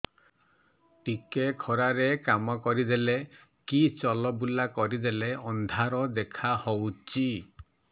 ଟିକେ ଖରା ରେ କାମ କରିଦେଲେ କି ଚଲବୁଲା କରିଦେଲେ ଅନ୍ଧାର ଦେଖା ହଉଚି